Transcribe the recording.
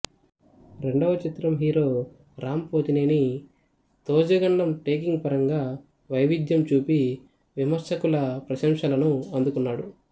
రెండవ చిత్రం హీరో రామ్ పోతినేని తోజగడం టేకింగ్ పరంగా వైవిధ్యం చూపి విమర్శకుల ప్రశంసలను అందుకున్నాడు